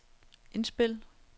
indspil